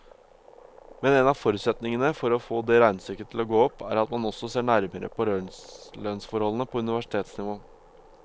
Men en av forutsetningene for å få det regnestykket til å gå opp, er at man også ser nærmere på lønnsforholdene på universitetsnivå.